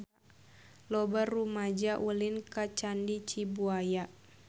Loba rumaja ulin ka Candi Cibuaya